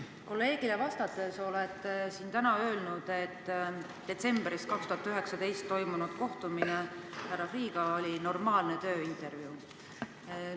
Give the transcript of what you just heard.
Meie kolleegile vastates olete siin täna öelnud, et detsembris 2019 toimunud kohtumine härra Freeh'ga oli normaalne tööintervjuu.